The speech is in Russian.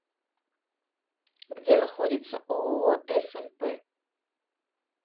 где находится ооо смп